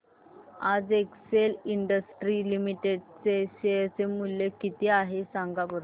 आज Excel Industries Limited चे share चे मूल्य किती आहे सांगा बरं